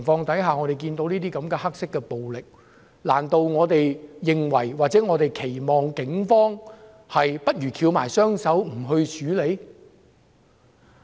主席，看到這些黑色暴力，難道我們認為或期望警方翹起雙手，不去處理？